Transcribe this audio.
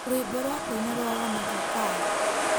Rwĩmbo rwa kũina rwa wanavokali